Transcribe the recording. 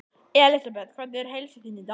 Elísabet: Hvernig er heilsa þín í dag?